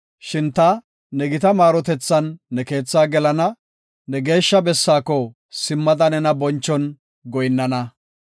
Shin ta ne gita maarotethan ne keethaa gelana; ne geeshsha bessaako simmada nena bonchon goyinnana.